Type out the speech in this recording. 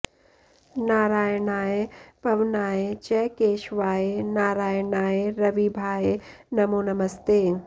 नारायणाय पवनाय च केशवाय नारायणाय रविभाय नमो नमस्ते